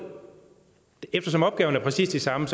eftersom opgaverne er præcis de samme